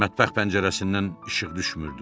Mətbəx pəncərəsindən işıq düşmürdü.